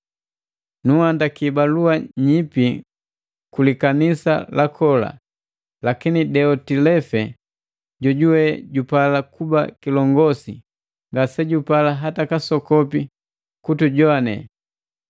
Nunhandiki balua nyipi ku likanisa la kola; lakini Diotilefe, jojuwe jupala kuba kilongosi, ngasejupala hata kasokopi kutujowane.